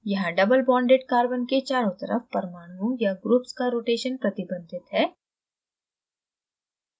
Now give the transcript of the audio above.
यहाँ doublebonded carbon के चारों तरफ परमाणुओं या ग्रुप्स का rotation प्रतिबंधित है